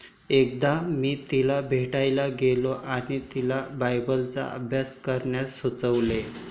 एकदा मी तिला भेटायला गेलो आणि तिला बायबलचा अभ्यास करण्यास सुचवलं.